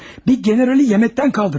Bir generalı yeməkdən qaldırmış.